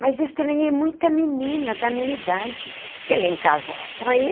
Mas estranhei muita menina da minha idade, porque ali em casa era só eu.